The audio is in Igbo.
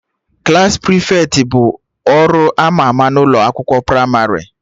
Klassị prịfeti bu ọrụ ama ama n'ụlọ akwụkwọ pramarị